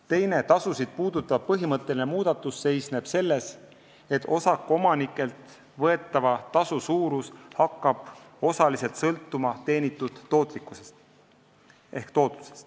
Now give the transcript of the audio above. Teine tasusid puudutav põhimõtteline muudatus seisneb selles, et osakuomanikelt võetava tasu suurus hakkab osaliselt sõltuma tootlusest.